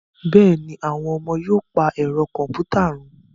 Bẹ́ẹ̀ ni, àwọn ọmọ yóò pa ẹ̀rọ kọ̀m̀pútà run